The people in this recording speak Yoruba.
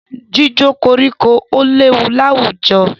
Jíjó koríko léwu láwùjọ.